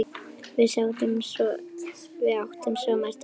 Við áttum svo margt ógert.